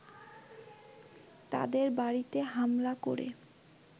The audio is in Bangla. তাদের বাড়িতে হামলা করে